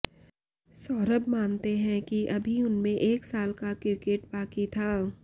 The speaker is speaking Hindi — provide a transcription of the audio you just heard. सौरभ मानते हैं कि अभी उनमें एक साल का क्रिकेट बाक़ी था